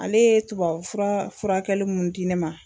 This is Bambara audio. Ale ye tubabufura furakɛli mun di ne ma.